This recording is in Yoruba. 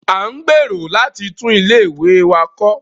À ń gbèrò láti tún ilé ìwẹ̀ wá kọ́